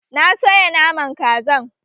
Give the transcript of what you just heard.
Na soya Naman Kazan